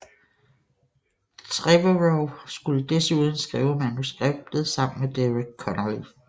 Trevorrow skulle desuden skrive manuskriptet sammen med Derek Connolly